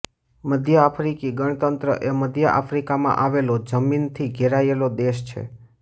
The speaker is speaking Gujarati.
મધ્ય આફ્રિકી ગણતંત્ર એ મધ્ય આફ્રિકામાં આવેલો જમીનથી ઘેરાયેલો દેશ છે